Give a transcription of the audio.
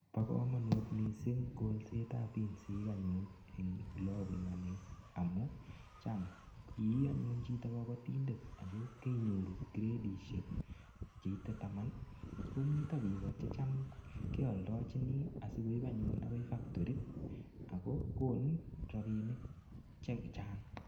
Bo kamanut mising kolsetab pinsik anyun en olebunu anne amu cham ianyun chito kabatindet ago keinyoru kredisiek cheite taman komito biiko che cham keoldochini asigoip anyun agai faktori ago kon rapinik che chang.